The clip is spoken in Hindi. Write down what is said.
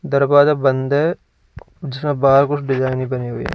दरवाजा बंद है जिसमें बाहर कुछ डिजाइन भी बने हुए।